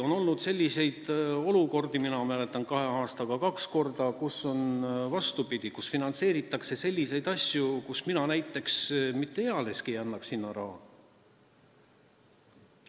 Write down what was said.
On olnud selliseid olukordi, mina mäletan kahe aasta jooksul kahte korda, kui on, vastupidi, finantseeritud selliseid asju, mille jaoks näiteks mina mitte ealeski raha ei annaks.